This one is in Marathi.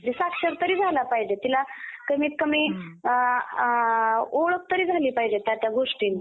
साक्षर तरी झाला पाहिजे. तिला कमीतकमी ओळख तरी झाली पाहिजे त्या त्या गोष्टींची.